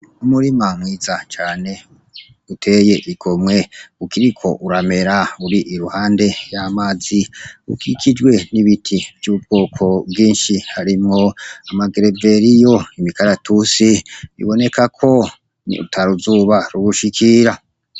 Umurima mwiza cane uteye igomwe ukiriko uramera uri iruhande y'amazi ukikijwe n'ibiti vy'ubwoko bwinshi harimwo amagereberiyo imikaratusi biboneka ko ni utaruzuba rubushikira.